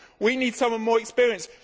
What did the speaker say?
We need someone more experienced.